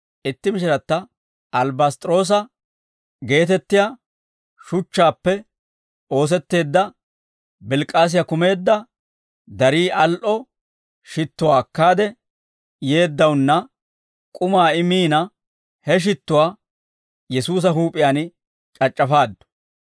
itti mishiratta albbass's'iroosa geetettiyaa shuchchaappe oosetteedda albbass's'iroosa baareeta kumeedda darii al"o shittuwaa akkaade yeeddawunna k'umaa I miina, he shittuwaa Yesuusa huup'iyaan c'ac'c'afaaddu.